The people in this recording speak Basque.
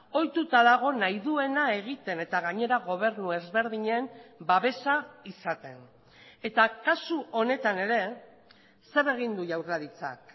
ohituta dago nahi duena egiten eta gainera gobernu ezberdinen babesa izaten eta kasu honetan ere zer egin du jaurlaritzak